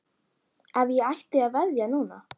Ef ég ætti að veðja núna?